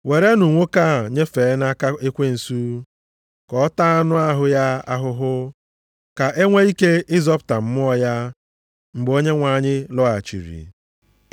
werenụ nwoke a nyefee nʼaka ekwensu, ka ọ taa anụ ahụ ya ahụhụ, ka e nwee ike ịzọpụta mmụọ ya, mgbe Onyenwe anyị lọghachiri.